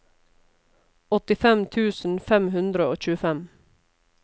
åttifem tusen fem hundre og tjuefem